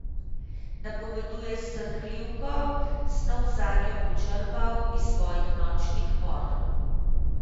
Napoveduje srhljivko, snov zanjo bo črpal iz svojih nočnih mor.